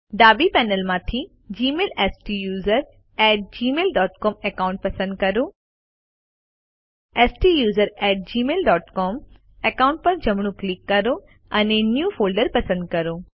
ડાબી પેનલમાંથી જીમેઇલ સ્ટુસરોને at Gmail dot C O M account પસંદ કરો સ્ટુસરોને at Gmail dot C O M account પર જમણું ક્લિક કરો અને ન્યૂ ફોલ્ડર પસંદ કરો